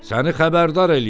Səni xəbərdar eləyirəm.